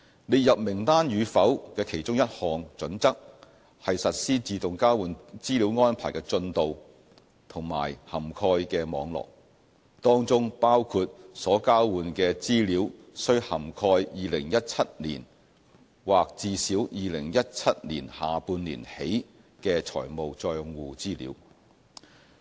列入名單與否的其中一項準則，是實施自動交換資料安排的進度和涵蓋的網絡，當中包括所交換的資料須涵蓋2017年或至少2017年下半年起的財務帳戶資料。